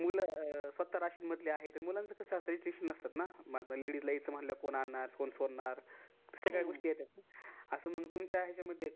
मुल स्वतः राशीनमधले आहेत त्यांना restriction नसतात. पण ladies येयच म्हणल्यास कोण आणणार, कोण सोडणार या सगळ्या गोष्टी येत्यात. अस मग तुमच्या